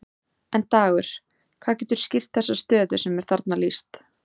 En Dagur, hvað getur skýrt þessa stöðu sem er þarna lýst?